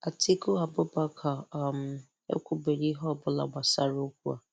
Atiku Abubakar um ekwubeghị ihe ọ bụla gbasara okwu a.